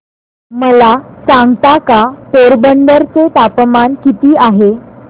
मला सांगता का पोरबंदर चे तापमान किती आहे